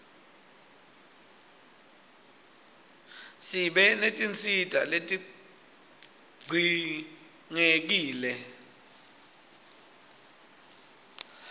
sibe netinsita letidzinqekile